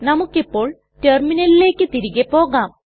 നമുക്കിപോൾ റ്റെർമിനലിലെക് തിരികെ പോകാം